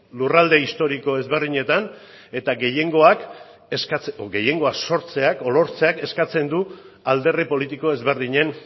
lurralde historiko ezberdinetan eta gehiengoa sortzeak edo lortzeak eskatzen du alderdi politiko desberdinen